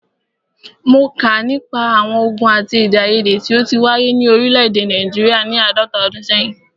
Mó kà nípa àwọn ògùn àti èdèaiyèdè tí o ti wáyé ni òrílẹ̀ èdè Nàìjíríà ni àádọ́ta ọdún sẹ́yìn.